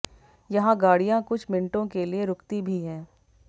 यहां गाड़ियां कुछ मिनटों के लिए रूकती भी है